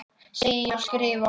Segi ég og skrifa.